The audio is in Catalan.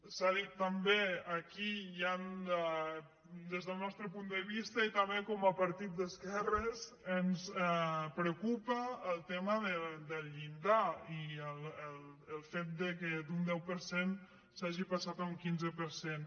s’ha dit també aquí des del nostre punt de vista i tam·bé com a partit d’esquerres ens preocupa el tema del llindar i el fet que d’un deu per cent s’hagi passat a un quinze per cent